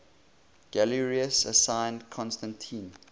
galerius assigned constantine